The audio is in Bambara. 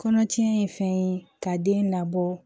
Kɔnɔtiɲɛ ye fɛn ye ka den labɔ